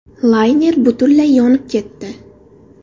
Layner butunlay yonib ketdi.